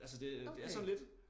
Altså det det er sådan lidt